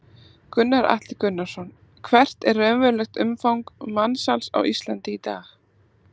Gunnar Atli Gunnarsson: Hvert er raunverulegt umfang mansals á Íslandi í dag?